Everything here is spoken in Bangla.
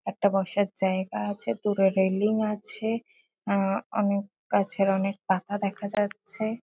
একটা বসার জায়গা আছে। দূরে রেলিং আছে। আ অনেক গাছের অনেক পাতা দেখা যাচ্ছে।